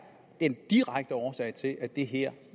den direkte årsag til at det her